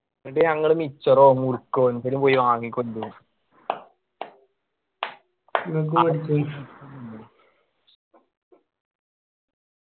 എന്നിട്ട് ഞങ്ങള് മിച്ചറോ മുറുക്കോ എന്തേലും പോയി വാങ്ങിക്കൊണ്ട് വരും